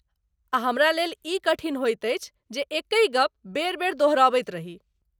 आ हमरा लेल ई कठिन होइत अछि, जे एकहि गप बेरि बेरि दोहराबैत रही ।